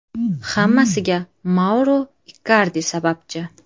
Hammasiga Mauro Ikardi sababchi.